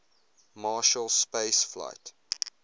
marshall space flight